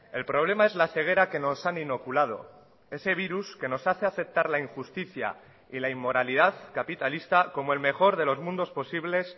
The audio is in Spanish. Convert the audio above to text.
el problema es la ceguera que nos han inoculado ese virus que nos hace aceptar la injusticia y la inmoralidad capitalista como el mejor de los mundos posibles